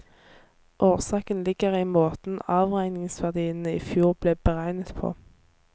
Årsaken ligger i måten avregningsverdiene i fjor ble beregnet på.